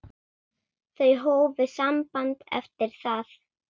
Þau hófu samband eftir það.